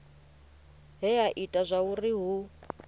he ha ita zwauri hu